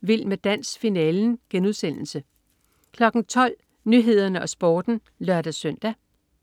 Vild med dans. Finalen* 12.00 Nyhederne og Sporten (lør-søn)